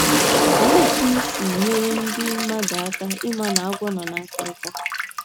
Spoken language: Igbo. Olee otú unu si nyere ndị mmadụ aka ịma na agwọ nọ n’akịrịka?